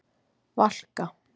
Valka